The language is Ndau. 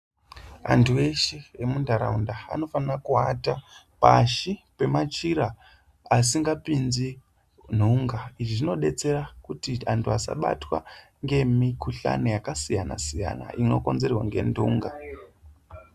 Antu eshe emunharaunda anofanira kuata pashi pemachira asingapinzi nhunga, izvi zvinodetsera kuti anhu asabatwa ngemukhuhlani yakasiyana siyana inokonzerwa ngenhunga.